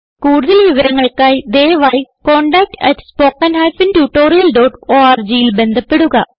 കുടുതൽ വിവരങ്ങൾക്കായി ദയവായി contactspoken tutorialorgൽ ബന്ധപ്പെടുക